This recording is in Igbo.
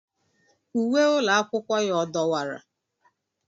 Uwe ụlọ akwụkwọ ya ọ dọwara?